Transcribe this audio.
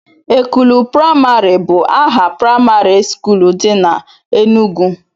Ekulu praimarị bụ aha praimarị skuul dị na Enugwu